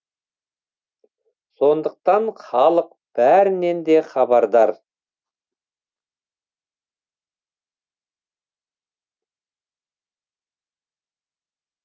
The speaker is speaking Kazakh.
сондықтан халық бәрінен де хабардар